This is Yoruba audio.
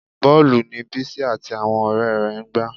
Bọ́ọ̀lù ni Bísí àti àwọn ọ̀rẹ́ rẹ̀ ń gbá